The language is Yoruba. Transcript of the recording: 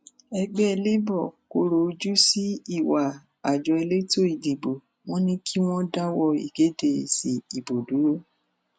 ẹgbẹ labour kọrọ ojú sí ìwà àjọ elétò ìdìbò wọn ni kí wọn dáwọ ìkéde èsì ìbò dúró